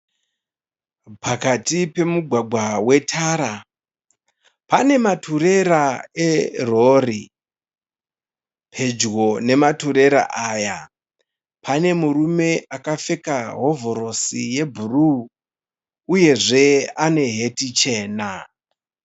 Pakati pemugwagwa wetara, pane maturera erori. Pedyo nematurera aya pane murume akapfeka hovhorosi yebhuruu uyezve ane heti chena.